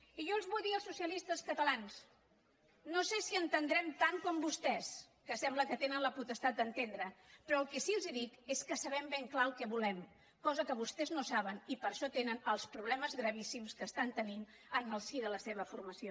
i jo vull dir als socialistes catalans no sé si n’entenem tant com vostès que sembla que tenen la potestat d’entendre però el que sí que els dic és que sabem ben clarament el que volem cosa que vostès no saben i per això tenen els problemes gravíssims que tenen en el si de la seva formació